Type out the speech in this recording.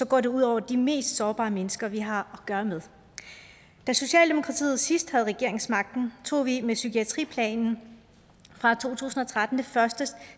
går det ud over de mest sårbare mennesker vi har at gøre med da socialdemokratiet sidst havde regeringsmagten tog vi med psykiatriplanen fra to tusind og tretten det første